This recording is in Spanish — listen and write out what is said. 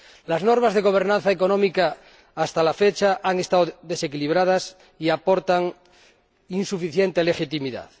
Las normas de gobernanza económica, hasta la fecha, han estado desequilibradas y aportan insuficiente legitimidad.